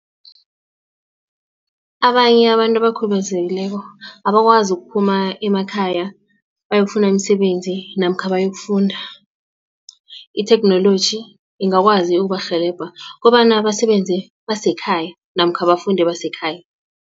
Abanye abantu abakhubazekileko abakwazi ukuphuma emakhaya bayokufuna imisebenzi namkha bayokufunda itheknoloji ingakwazi ukubarhelebha kobana basebenze basekhaya namkha bafunde basekhaya.